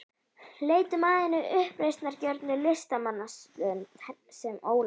Leitum að hinni uppreisnargjörnu listamannslund, sem Ólafur